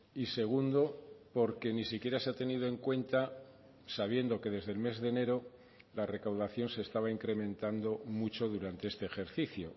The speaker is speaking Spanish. y segundo porque ni siquiera se ha tenido en cuenta sabiendo que desde el mes de enero la recaudación se estaba incrementando mucho durante este ejercicio